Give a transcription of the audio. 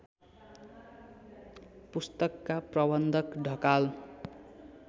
पुस्तकका प्रबन्धक ढकाल